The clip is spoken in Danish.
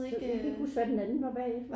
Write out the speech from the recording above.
Jeg kan ikke huske hvad den anden var bagefter